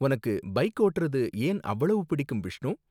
உனக்கு பைக் ஓட்டுறது ஏன் அவ்ளோ பிடிக்கும், பிஷ்ணு?